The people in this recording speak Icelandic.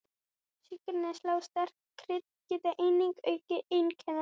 Sykurneysla og sterk krydd geta einnig aukið einkennin.